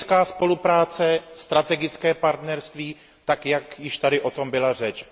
Strategická spolupráce, strategické partnerství tak, jak již tady o tom byla řeč.